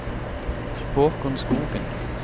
Haakon Skogen